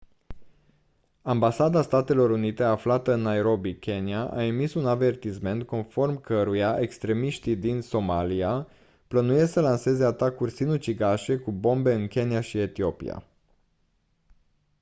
ambasada statelor unite aflată în nairobi kenya a emis un avertisment conform căruia «extremiști din somalia» plănuiesc să lanseze atacuri sinucigașe cu bombe în kenya și etiopia.